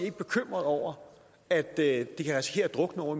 ikke bekymret over at det kan risikere at drukne ovre